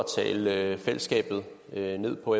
tale fællesskabet ned på